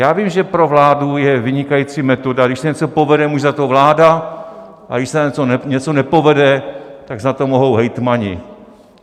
Já vím, že pro vládu je vynikající metoda: když se něco povede, může za to vláda, a když se něco nepovede, tak za to mohou hejtmani.